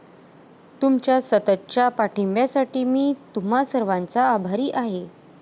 तुमच्या सततच्या पाठिंब्यासाठी मी तुम्हा सर्वांचा आभारी आहे.